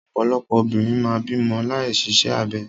Ọ̀pọ̀lọpọ̀ obìnrin máa ń bímọ láì ṣiṣẹ́ abẹ.